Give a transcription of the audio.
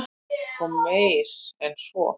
Og meir en svo.